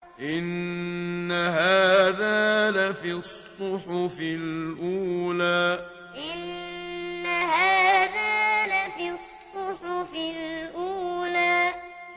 إِنَّ هَٰذَا لَفِي الصُّحُفِ الْأُولَىٰ إِنَّ هَٰذَا لَفِي الصُّحُفِ الْأُولَىٰ